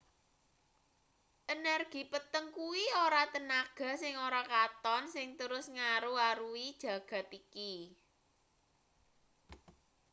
energy peteng kuwi ora tenaga sing ora katon sing terus ngaruh-aruhi jagat iki